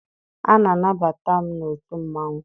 A na-anabata m n'otu mmanwụ.